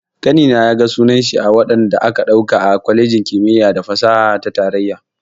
Ƙanina ya ga sunan shi a wadanda aka ɗauka a kwalejin kimiyya da fasaha ta tarayya.